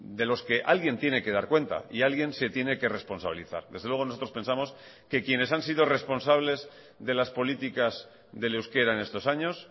delos que alguien tiene que dar cuenta y alguien se tiene que responsabilizar desde luego nosotros pensamos que quienes han sido responsables de las políticas del euskera en estos años